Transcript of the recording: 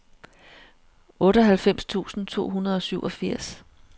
otteoghalvfems tusind to hundrede og syvogfirs